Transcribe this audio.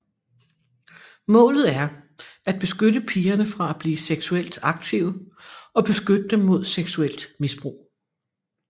Målet er at beskytte pigerne fra at blive seksuelt aktive og beskytte dem mod seksuelt misbrug